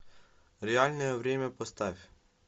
реальное время поставь